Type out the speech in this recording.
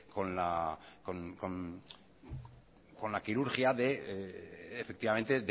con la quirurgia